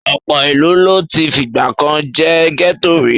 Ọ̀pọ̀ ìlú ló ti fìgbà kan jẹ́ gẹ́tò rí.